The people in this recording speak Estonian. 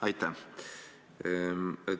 Aitäh!